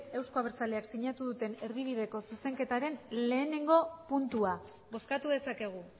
euzko abertzaleak sinatu duten erdibideko zuzenketaren lehenengo puntua bozkatu dezakegu